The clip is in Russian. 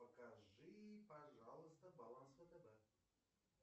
покажи пожалуйста баланс втб